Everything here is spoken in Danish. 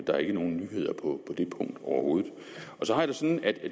der er ikke nogen nyheder på det punkt overhovedet